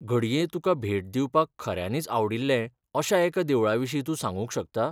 घडये तुकां भेट दिवपाक खऱ्यांनीच आवडिल्लें अशा एका देवळाविशीं तूं सांगूंक शकता.